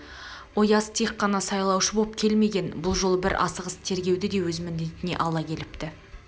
ояз тек қана сайлаушы боп келмеген бұл жолы бір асығыс тергеуді де өз міндетіне ала кепті